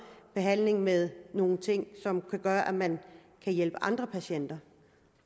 behandling med nogle ting som kan gøre at man kan hjælpe andre patienter